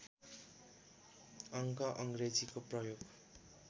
अङ्क अङ्ग्रेजीको प्रयोग